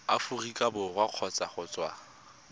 aforika borwa kgotsa go tswa